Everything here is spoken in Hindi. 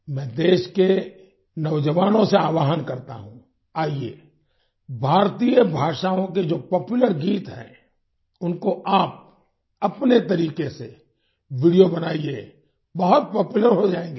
मैं देश के नौजवानों से आह्वाहन करता हूँ आइए कि भारतीय भाषाओँ के जो पॉपुलर गीत हैं उनको आप अपने तरीके से वीडियो बनाइए बहुत पॉपुलर हो जाएंगे आप